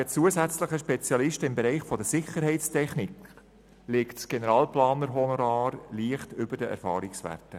Wegen zusätzlicher Spezialisten im Bereich der Sicherheitstechnik liegt das Generalplanerhonorar leicht über den Erfahrungswerten.